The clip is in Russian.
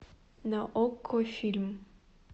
на окко фильм